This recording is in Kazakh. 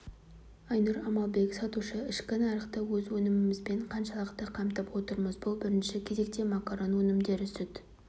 айнұр амалбек сатушы ішкі нарықты өз өнімімізбен қаншалықты қамтып отырмыз бұл бірінші кезекте макарон өнімдері сүт